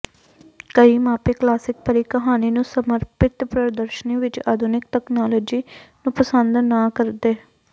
ਕਈ ਮਾਪੇ ਕਲਾਸਿਕ ਪਰੀ ਕਹਾਣੀ ਨੂੰ ਸਮਰਪਿਤ ਪ੍ਰਦਰਸ਼ਨੀ ਵਿਚ ਆਧੁਨਿਕ ਤਕਨਾਲੋਜੀ ਨੂੰ ਪਸੰਦ ਨਾ ਕਰਦੇ